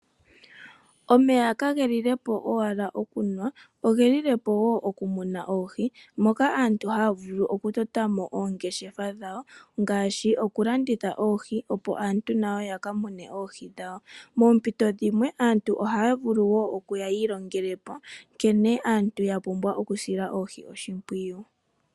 Omeya kagelile po owala okunwa ogelile po wo okumuna oohi, moka aantu haya vulu okutota mo oongeshefa dhawo ngaashi okulanditha oohi opo aantu nayo yaka mone mo oohi dhawo. Moompito dhimwe aantu ohaya vulu wo okuya yiilonge ko nkene aantu yapumbwa okusila oohi oshimpwiyu.